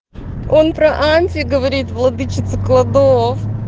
он про анти говорит владычица кладов